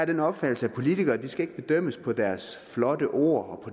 den opfattelse at politikere ikke skal bedømmes på deres flotte ord og